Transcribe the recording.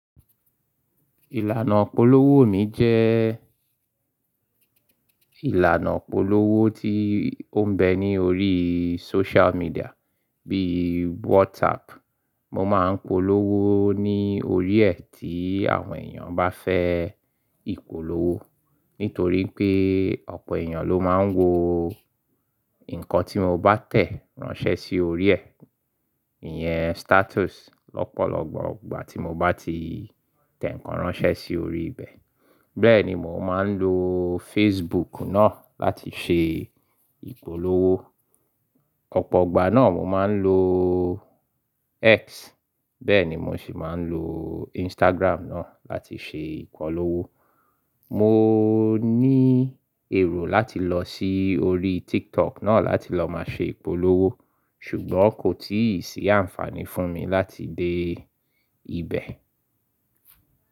Ìlànà ìpolówó mi jẹ́ ìlànà ìpolówó tí ó ń bẹ ní orí social media bíi WhatsApp. Mo máa ń polówó ní orí ẹ́ tí àwọn èèyàn bá fẹ́ ìpolówó, nítorí pé ọ̀pọ̀ èèyàn ló máa ń wo nǹkan tí mo bá tẹ̀ ránṣẹ́ sí orí ẹ́, ìyẹn status lọ́pọ̀lọpọ̀ igbà tí mo bá ti tẹ̀ ǹkan ránṣẹ́ sí orí ibẹ̀. Bẹ́ẹ̀ ni mò ń máa ń lo Facebook náà láti ṣe ìpolówó. Ọ̀pọ̀ igbà náà mo máa ń lo X, bẹ́ẹ̀ ni mo sì máa ń lo Instagram náà láti ṣe ìpolówó. Mo ní èrò láti lọ sí orí TikTok náà láti lọ máa ṣe ìpolówó ṣùgbọ́n kò tíì sí àǹfààní fún mi láti dé ibẹ̀.